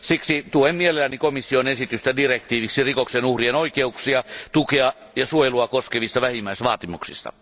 Siksi tuen mielelläni komission esitystä direktiiviksi rikoksen uhrien oikeuksia, tukea ja suojelua koskevista vähimmäisvaatimuksista.